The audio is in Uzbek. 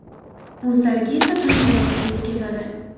O‘zlariga esa tan jarohati yetkazadi.